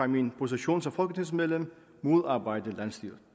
min position som folketingsmedlem modarbejde landsstyret